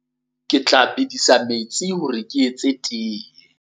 Ke tla bedisa metsi hore ke tle ke etse tee.